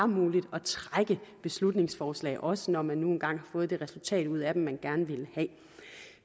muligt at trække beslutningsforslag også når man nu engang har fået det resultat ud af dem man gerne ville have